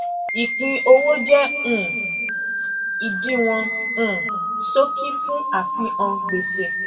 ìpínowó jẹ um ìdíwọn um ṣókí fún àfihàn gbèsè